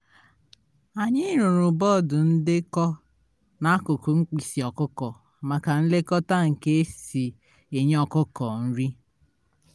anyị rụrụ bọọdụ ndekọ n'akụkụ mkpịsị ọkụkọ maka nlekota ka e si enye ọkụkọ nri